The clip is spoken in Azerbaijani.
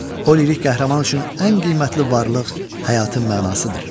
O lirik qəhrəman üçün ən qiymətli varlıq, həyatın mənasıdır.